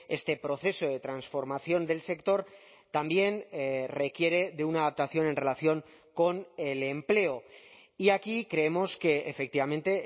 este proceso de transformación del sector también requiere de una adaptación en relación con el empleo y aquí creemos que efectivamente